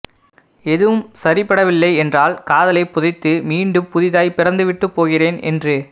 எதுவும் சரிப்படவில்லை என்றால் காதலைப் புதைத்து மீண்டும் புதிதாய் பிறந்துவிட்டுப் போகிறேன் என்று